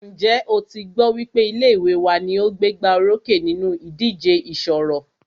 Ǹjẹ́ o tí gbọ́ wípé ilé ìwé wa ní o gbégbá orókè nínú ìdíje ìṣọ̀rọ̀?